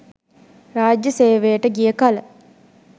රාජ්‍යය සේවයට ගිය කල